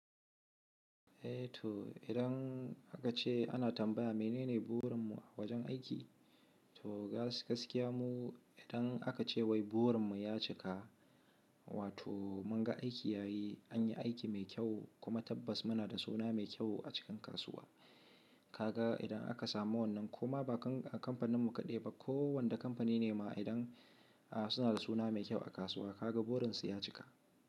Eh to idan aka ce ana tambaya menene burin mu a wajen aiki? To gaskiya mu idan aka ce wai burin mu ya cika, wato mun ga aiki ya yi, an yi aiki mai kyau kuma tabbas muna da suna mai kyau a cikin kasuwa. Kaga idan aka samu wannan koma ba kan kamfanin mu kaɗai ba, kowane kamfani ne ma idan a suna da suna mai kyau a kasuwa, kaga burin su ya cika.